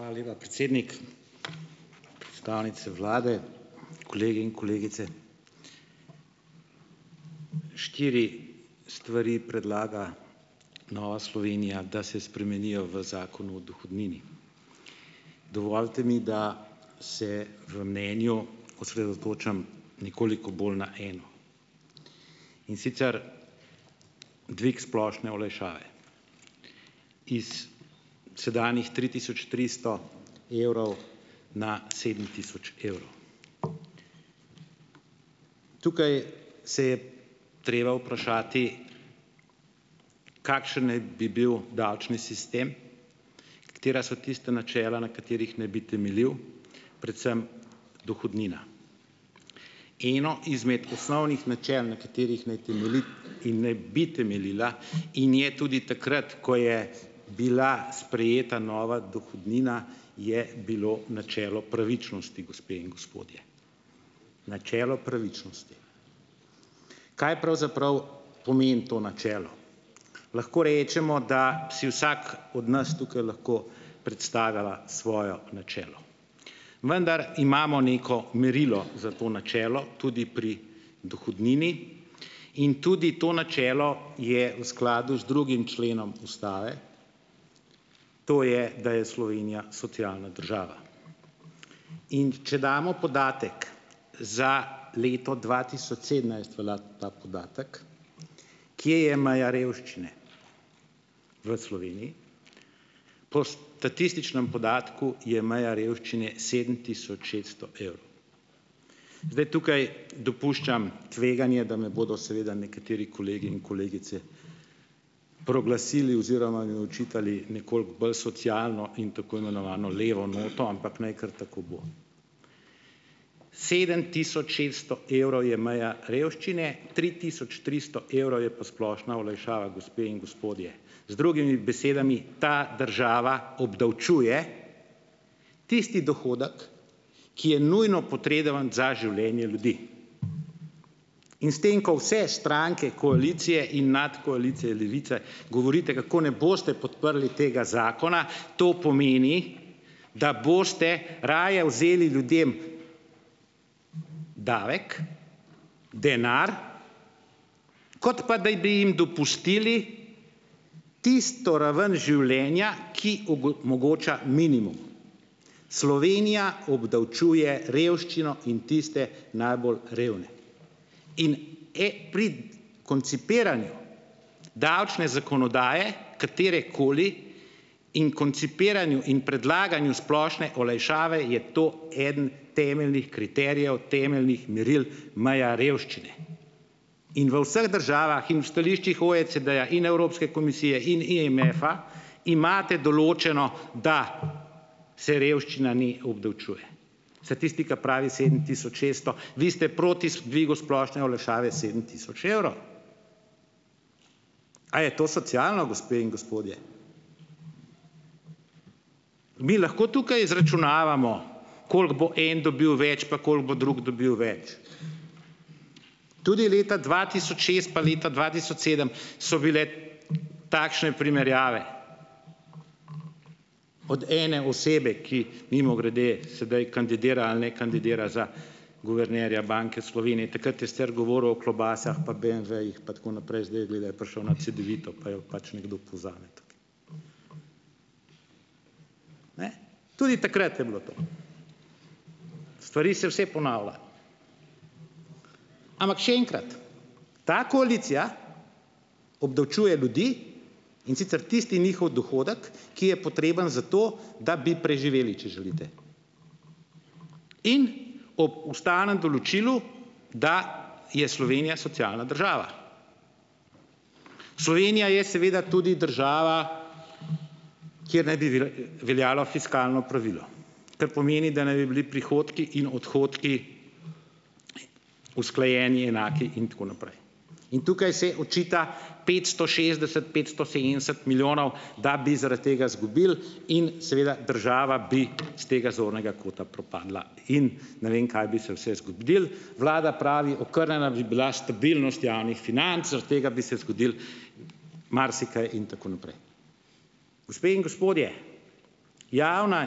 Hvala lepa, predsednik. Ustavnice Vlade, kolegi in kolegice! Štiri stvari predlaga Nova Slovenija, da se spremenijo v Zakonu o dohodnini. Dovolite mi, da se v mnenju osredotočim nekoliko bolj na eno, in sicer, dvig splošne olajšave. Iz sedanjih tri tisoč tristo evrov na sedem tisoč evrov. Tukaj se je treba vprašati, kakšen naj bi bil davčni sistem. Katera so tista načela, na katerih naj bi temeljil? Predvsem dohodnina. Eno izmed osnovnih načel, na katerih naj temelji in naj bi temeljila in je tudi takrat, ko je bila sprejeta nova dohodnina, je bilo načelo pravičnosti, gospe in gospodje. Načelo pravičnosti. Kaj pravzaprav pomeni to načelo? Lahko rečemo, da si vsak od nas tukaj lahko predstavlja svoje načelo, vendar imamo neko merilo za to načelo, tudi pri dohodnini, in tudi to načelo je v skladu z drugim členom Ustave, to je, da je Slovenija socialna država. In če damo podatek, za leto dva tisoč sedemnajst velja ta podatek, kje je meja revščine v Sloveniji. Po statističnem podatku je meja revščine sedem tisoč šeststo evrov. Zdaj, tukaj dopuščam tveganje, da me bodo seveda nekateri kolegi in kolegice proglasili oziroma mi očitali nekoliko bolj socialno in tako imenovano levo noto, ampak naj kar tako bo, sedem tisoč šeststo evrov je meja revščine, tri tisoč tristo evrov je pa splošna olajšava, gospe in gospodje. Z drugimi besedami, ta država obdavčuje tisti dohodek, ki je nujno potrebovan za življenje ljudi. In s tem, ko vse stranke koalicije in nadkoalicije Levice govorite, kako ne boste podprli tega zakona, to pomeni, da boste raje vzeli ljudem davek, denar, kot pa daj bi jim dopustili tisto raven življenja, ki mogoča minimum. Slovenija obdavčuje revščino in tiste najbolj revne koncipiranju davčne zakonodaje, katerekoli in koncipiranju in predlaganju splošne olajšave je to eden temeljnih kriterijev, temeljnih meril, meja revščine. In v vseh državah in v stališčih OECD-ja in Evropske komisije in IMF-a imate določeno, da se revščina ni obdavčuje. Statistika pravi sedem tisoč šeststo, vi ste proti dvigu splošne olajšave sedem tisoč evrov. A je to socialno, gospe in gospodje? Mi lahko tukaj izračunavamo, koliko bo en dobil več pa koliko bo drug dobil več? Tudi leta dva tisoč šest pa leta dva tisoč sedem so bile takšne primerjave, od ene osebe, ki mimogrede, sedaj kandidira ali ne kandidira za guvernerja Banke Slovenije. Takrat je sicer govoril o klobasah pa BMW-jih, pa tako naprej, zdaj izgleda, je prišel na cedevito, pa jo pač nekdo Tudi takrat je bilo to. Stvari se vse ponavlja. Ampak še enkrat, ta koalicija obdavčuje ljudi, in sicer tisti njihov dohodek, ki je potreben za to, da bi preživeli, če želite. In ob ustavnem določilu, da je Slovenija socialna država. Slovenija je seveda tudi država, kjer naj bi veljalo fiskalno pravilo, kar pomeni, da naj bi bili prihodki in odhodki usklajeni, enaki in tako naprej. In tukaj se očita petsto šestdeset, petsto osemdeset milijonov, da bi zaradi tega zgubili in seveda, država bi iz tega zornega kota propadla in ne vem, kaj bi se vse zgodilo. Vlada pravi okrnjena bi bila stabilnost javnih financ, zaradi tega bi se zgodilo marsikaj in tako naprej. Gospe in gospodje, javne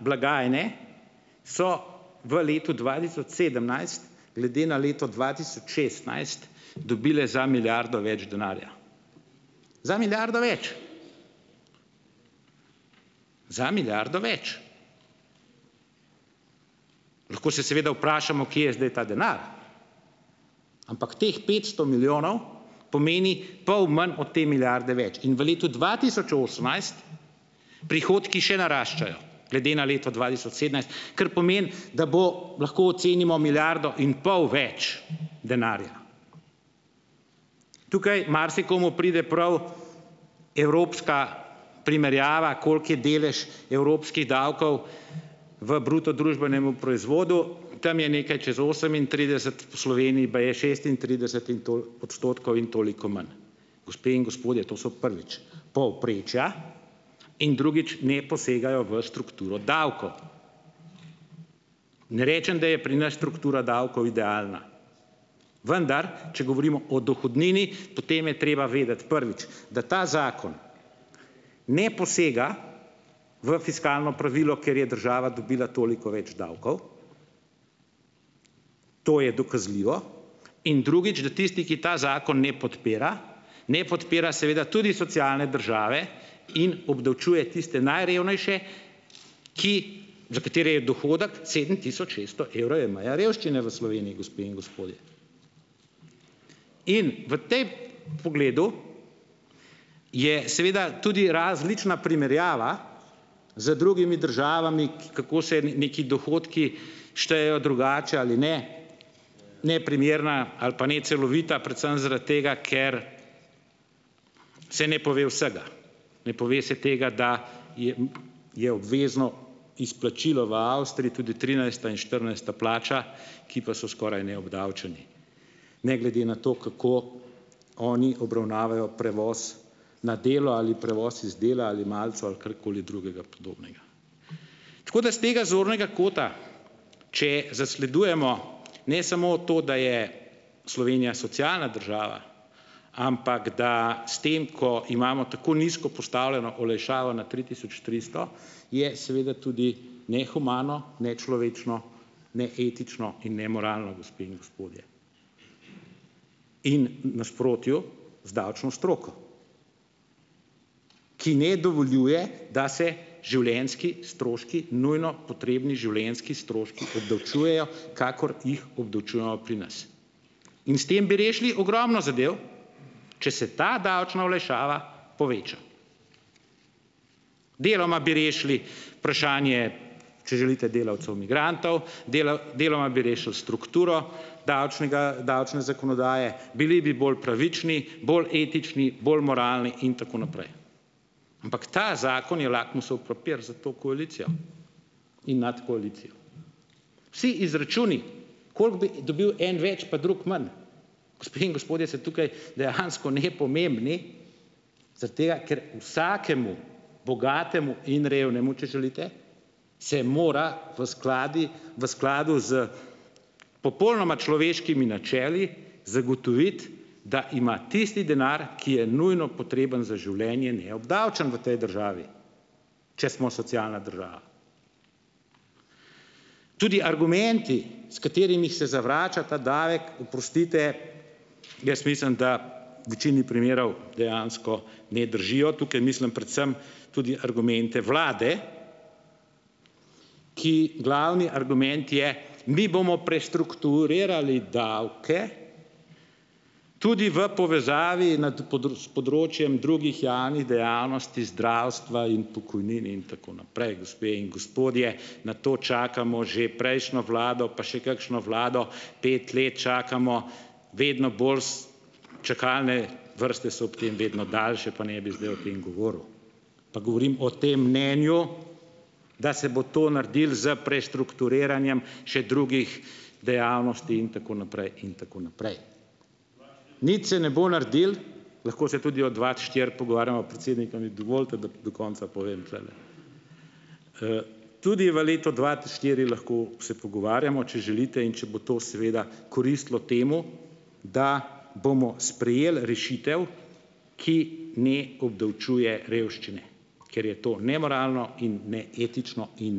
blagajne so v letu dva tisoč sedemnajst glede na leto dva tisoč šestnajst dobile za milijardo več denarja, za milijardo več. za milijardo več. Lahko se seveda vprašamo, kje je zdaj ta denar, ampak teh petsto milijonov pomeni pol manj od te milijarde več. In v letu dva tisoč osemnajst prihodki še naraščajo glede na leto dva tisoč sedemnajst, kar pomeni, da bo, lahko ocenimo, milijardo in pol več denarja. Tukaj marsikomu pride prav evropska primerjava, koliko je delež evropskih davkov v bruto družbenemu proizvodu, tam je nekaj čez osemintrideset v Sloveniji baje šestintrideset in odstotkov in toliko manj. Gospe in gospodje, to so prvič, povprečja in drugič ne posegajo v strukturo davkov. Ne rečem, da je pri nas struktura davkov idealna, vendar če govorimo o dohodnini, potem je treba vedeti, prvič, da ta zakon ne posega v fiskalno pravilo, ker je država dobila toliko več davkov, to je dokazljivo. In drugič, da tisti, ki ta zakon ne podpira, ne podpira seveda tudi socialne države in obdavčuje tiste najrevnejše, ki za katere je dohodek sedem tisoč šeststo evrov je meja revščine v Sloveniji, gospe in gospodje. In v pogledu je seveda tudi različna primerjava z drugimi državami, kako se neki dohodki štejejo drugače ali ne, neprimerna ali pa necelovita predvsem zaradi tega, ker se ne pove vsega. Ne pove se tega, da je obvezno izplačilo v Avstriji tudi trinajsta in štirinajsta plača, ki pa so skoraj neobdavčeni ne glede na to, kako oni obravnavajo prevoz na delo ali prevoz z dela ali malico ali karkoli drugega podobnega. Tako da iz tega zornega kota, če zasledujemo ne samo to, da je Slovenija socialna država, ampak da s tem, ko imamo tako nizko postavljeno olajšavo na tri tisoč tristo, je seveda tudi nehumano, nečlovečno, neetično in nemoralno, gospe in gospodje, in v nasprotju z davčno stroko, ki ne dovoljuje, da se življenjski stroški - nujno potrebni življenjski stroški - obdavčujejo kakor jih obdavčujemo pri nas. In s tem bi rešili ogromno zadev, če se ta davčna olajšava poveča. Deloma bi rešili vprašanje, če želite delavcev migrantov, deloma bi rešili strukturo davčnega davčne zakonodaje, bili bi bolj pravični, bolj etični, bolj moralni in tako naprej, ampak ta papir za to koalicijo in nad koalicijo. Vsi izračuni, koliko bi dobil en več pa drug manj, gospe in gospodje, se tukaj dejansko nepomembni, zaradi tega, ker vsakemu bogatemu in revnemu, če želite, se mora v skladi v skladu s popolnoma človeškimi načeli zagotoviti, da ima tisti denar, ki je nujno potreben za življenje, neobdavčen v tej državi, če smo socialna država. Tudi argumenti, s katerimi se zavrača ta davek, oprostite, jaz mislim, da v večini primerov dejansko ne držijo, tukaj mislim predvsem tudi argumente Vlade, ki glavni argument je, mi bomo prestrukturirali davke tudi v povezavi področjem drugih javnih dejavnosti zdravstva in pokojnin in tako naprej. Gospe in gospodje, na to čakamo že prejšnjo vlado pa še kakšno vlado, pet let čakamo, vedno bolj, čakalne vrste so ob tem vedno daljše, pa ne bi zdaj o tem govoril. Pa govorim o tem mnenju, da se bo to naredilo s prestrukturiranjem še drugih dejavnosti in tako naprej in tako naprej. Nič se ne bo naredil. Lahko se tudi od dva štiri pogovarjamo. Predsednik, a mi dovolite, da do konca povem tlele? Tudi v letu dva štiri lahko se pogovarjamo, če želite in če bo to seveda koristilo temu, da bomo sprejeli rešitev, ki ne obdavčuje revščine, ker je to nemoralno in neetično in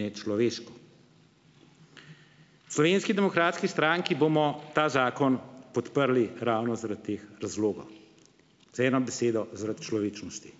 nečloveško. V Slovenski demokratski stranki bomo ta zakon podprli ravno zaradi teh razlogov. Z eno besedo - zaradi človečnosti.